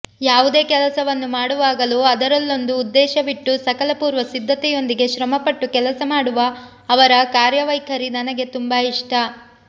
ಯಾವುದೇ ಕೆಲಸವನ್ನು ಮಾಡುವಾಗಲೂ ಅದರಲ್ಲೊಂದು ಉದ್ದೇಶವಿಟ್ಟು ಸಕಲ ಪೂರ್ವಸಿದ್ಧತೆಯೊಂದಿಗೆ ಶ್ರಮಪಟ್ಟು ಕೆಲಸ ಮಾಡುವ ಅವರ ಕಾರ್ಯವೈಖರಿ ನನಗೆ ತುಂಬಾ ಇಷ್ಟ